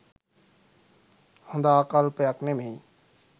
හොඳ ආකල්පයක් නෙමේ